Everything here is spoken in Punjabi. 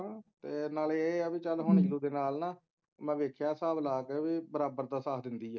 ਫੇਰ ਨਾਲੇ ਏ ਹੈ ਕਿ ਚੱਲ ਓਹਦੇ ਨਾਲ ਮੈਂ ਵੇਖਿਆ ਹਿਸਾਬ ਲਾ ਕੇ ਕਿ ਬਰਾਬਰ ਦਾ ਸਾਥ ਦਿੰਦੀ ਹੈ